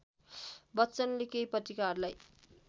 बच्चनले केही पत्रिकाहरूलाई